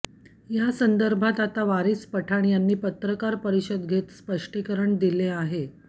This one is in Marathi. या संदर्भात आता वारिस पठाण यांनी पत्रकार परिषद घेत स्पष्टीकरण दिले आहे